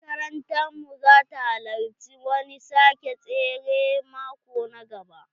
Makarantar mu za ta halarci wani sake tsere maƙo na gaba.